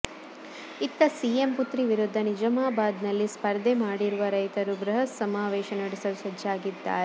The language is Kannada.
ಇತ್ತ ಸಿಎಂ ಪುತ್ರಿ ವಿರುದ್ಧ ನಿಜಾಮಬಾದ್ ನಲ್ಲಿ ಸ್ಪರ್ಧೆ ಮಾಡಿರುವ ರೈತರು ಬೃಹತ್ ಸಮಾವೇಶ ನಡೆಸಲು ಸಜ್ಜಾಗಿದ್ದಾರೆ